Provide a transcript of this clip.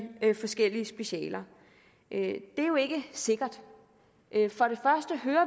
forskellige specialer det er jo ikke sikkert